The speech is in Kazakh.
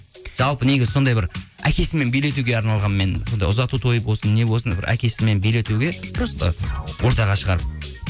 жалпы негізі сондай бір әкесімен билетуге арналған мен сондай ұзату тойы болсын не болсын бір әкесімен билетуге просто ортаға шығарып